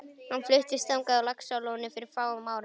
Hann fluttist þangað frá Laxalóni fyrir fáum árum.